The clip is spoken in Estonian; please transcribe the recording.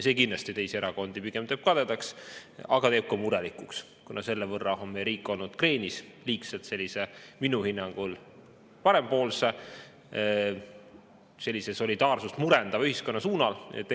See kindlasti teeb teisi erakondi pigem kadedaks, aga teeb ka murelikuks, kuna selle võrra on meie riik olnud liigselt kreenis sellise minu hinnangu, parempoolse, solidaarsust murendava ühiskonna poole.